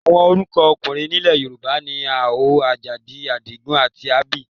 Àwọn orúkọ ọkùnrin nílẹ̀ Yorùbá ni Àlàó, Àjàdí, Àdìgún, abbl.